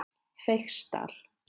Feigsdal